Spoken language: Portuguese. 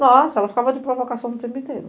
Nossa, ela ficava de provocação o tempo inteiro.